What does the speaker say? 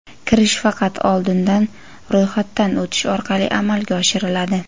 Kirish faqat oldindan ro‘yxatdan o‘tish orqali amalga oshiriladi.